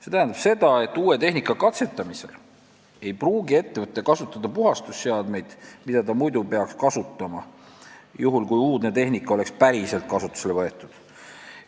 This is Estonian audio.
See tähendab seda, et uue tehnika katsetamisel ei pruugi ettevõte kasutada puhastusseadmeid, mida ta muidu peaks kasutama, juhul kui uudne tehnika oleks päriselt kasutusele võetud.